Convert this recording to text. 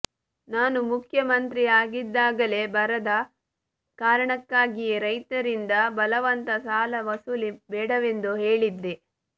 ನಾನು ಮುಖ್ಯ ಮಂತ್ರಿ ಆಗಿದ್ದಾಗಲೇ ಬರದ ಕಾರಣಕ್ಕಾಗಿಯೇ ರೈತರಿಂದ ಬಲವಂತ ಸಾಲ ವಸೂಲಿ ಬೇಡವೆಂದು ಹೇಳಿದ್ದೆ